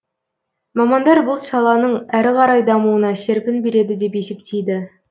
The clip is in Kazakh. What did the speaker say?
мамандар бұл саланың әрі қарай дамуына серпін береді деп есептейді